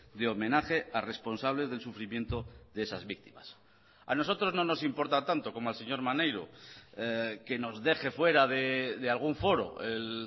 de homenaje a responsables del sufrimiento de esas víctimas a nosotros no nos importa tanto como al señor maneiro que nos deje fuera de algún foro el